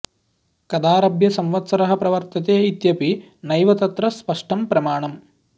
कदाऽऽरभ्य संवत्सरः प्रवर्तते इत्यपि नैव तत्र स्पष्टं प्रमाणम्